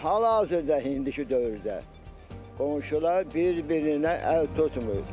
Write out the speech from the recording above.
Amma hal-hazırda indiki dövrdə qonşular bir-birinə əl tutmur.